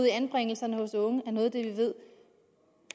i anbringelserne er noget af det vi ved